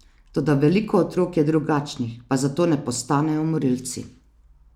Toda veliko otrok je drugačnih, pa zato ne postanejo morilci.